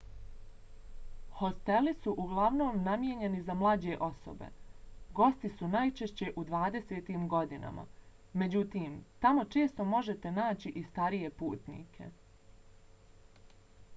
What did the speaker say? hosteli su uglavnom namijenjeni za mlađe osobe. gosti su najčešće u dvadesetim godinama. međutim tamo često možete naći i starije putnike